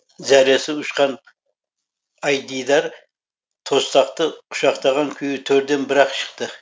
зәресі ұшқан айдидар тостақты құшақтаған күйі төрден бір ақ шықты